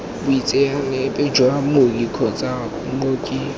boitseanape jwa mooki kgotsa mooki